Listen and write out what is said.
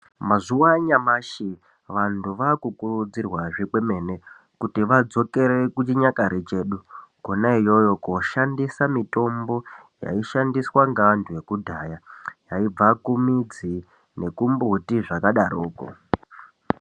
Mazuva anyamashi vantu vakukurudzirwazve kwemene kuti vadzokere kuchinyakare chedu kona iyoyo koshandisa mitombo yaishandiswa ngeantu ekudhaya yaibva kumidzi, nekumbuti zvakadaroko.